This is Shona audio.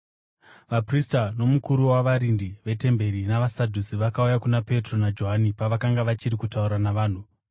Vaprista nomukuru wavarindi vetemberi navaSadhusi vakauya kuna Petro naJohani pavakanga vachiri kutaura navanhu.